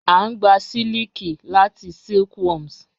A ngbà sílikì látì silkworms.